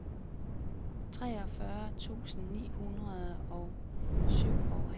treogfyrre tusind ni hundrede og syvoghalvtreds